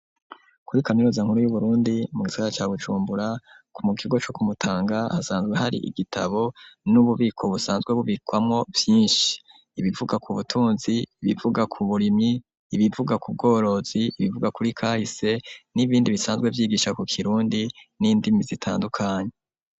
Kuri kaminuza nkuru y'Uburundi mu gisaga ca Bujumbura mu kigo co ku Mutanga hasanzwe hari igitabo n'ububiko busanzwe bubikwamo vyinshi, ibivuga ku butunzi, ibivuga ku burimyi, ibivuga ku bworozi, ibivuga kuri kahise n'ibindi bisanzwe vyigisha ku kirundi n'indimi zitandukanye.